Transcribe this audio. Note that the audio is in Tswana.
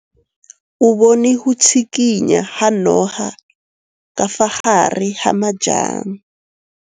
O bone go tshikinya ga noga ka fa gare ga majang.